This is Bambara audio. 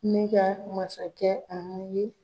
Ne ka masakɛ an ye